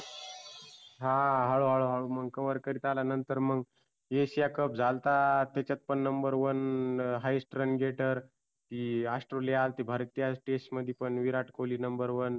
हा हाळू हाळू मग cover करीत आला नंतर मग जे shockup झालता त्याच्यात पण number one highest run geter ती Austrelia आलती भारत त्या test मध्ये पण विराट कोल्ही number one